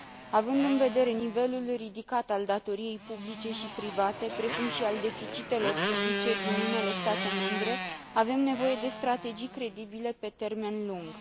Având în vedere nivelul ridicat al datoriei publice și private, precum și al deficitelor publice din unele state membre, avem nevoie de strategii credibile pe termen lung.